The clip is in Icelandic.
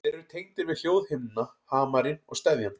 Þeir eru tengdir við hljóðhimnuna, hamarinn og steðjann.